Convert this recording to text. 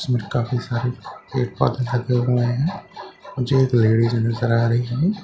इसमें काफी सारे पेड़-पौधे लगे हुए हैं मुझे एक लेडिस नजर आ रही है जो--